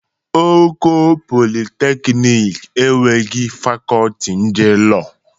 Oko Polịteknik enweghị Fakọlti ndị Lọọ.